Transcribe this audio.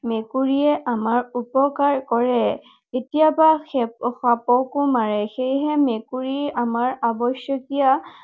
মেকুৰীয়ে আমাৰ উপকাৰ কৰে। কেতিয়াবা সাপকো মাৰে। সেয়েহে মেকুৰী আমাৰ আৱশ্যকীয়